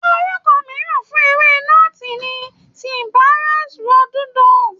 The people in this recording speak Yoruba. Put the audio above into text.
Orúkọ mìíràn fún ewé nọ́ọ̀tì ni Cyperus rotundus.